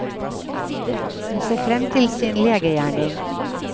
Hun ser frem til sin legegjerning.